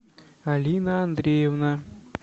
алина андреевна